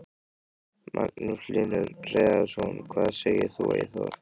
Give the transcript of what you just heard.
Magnús Hlynur Hreiðarsson: Hvað segir þú Eyþór?